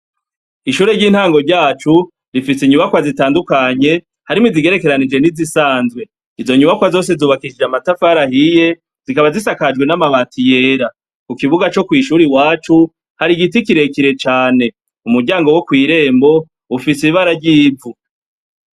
Ishure ryintango yacu rifise inyubakwa zitandukanye harimwo izigerekeranijwe nizisanzwe inyubakwa zose zubakishijwe amatafari ahiye zikaba zisakajwe amabati yera kukibuga co kwishure iwacu hari igiti kirekire cane umuryango wo kwirembo ufise ibara ryivu